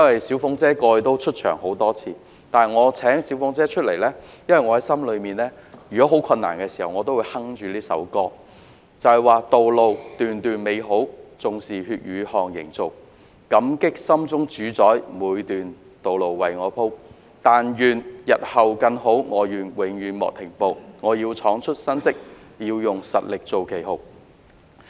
"小鳳姐"過往已曾出場多次，但我請她出來，是因為我在很困難的時候，心裏都會哼着以下這一闕歌："道路段段美好，縱是血與汗營造，感激心中主宰每段道路為我鋪，但願日後更好，我願永遠莫停步，我要創出新績，要用實力做旗號"。